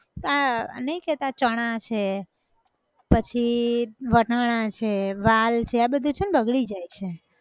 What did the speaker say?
આ, આ નઈ કેતાં, ચણા છે, પછી, વટાણાં છે, વાલ છે આ બધું છે ને બગડી જાય છે